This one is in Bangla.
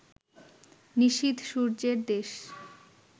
নিশীথ সূর্যের দেশ